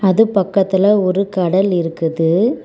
அது பக்கத்துல ஒரு கடல் இருக்குது.